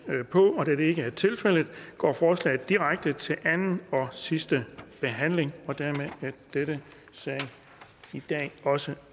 på og da det ikke er tilfældet går forslaget direkte til anden og sidste behandling og dermed er denne sag også